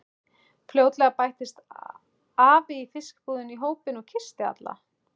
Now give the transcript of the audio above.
Fljótlega bættist afi í fiskbúðinni í hópinn og kyssti alla.